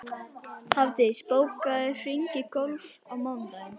Hafdís, bókaðu hring í golf á mánudaginn.